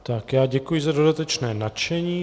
Tak já děkuji za dodatečné načtení.